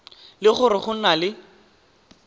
le gore go na le